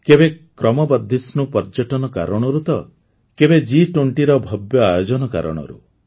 କେବେ କ୍ରମବର୍ଦ୍ଧିଷ୍ଣୁ ପର୍ଯ୍ୟଟନ କାରଣରୁ ତ ଆଉ କେବେ ଜି୨୦ର ଭବ୍ୟ ଆୟୋଜନ କାରଣରୁ